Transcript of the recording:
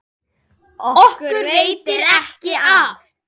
Okkur veitir ekki af.